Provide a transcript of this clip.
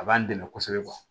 A b'an dɛmɛ kosɛbɛ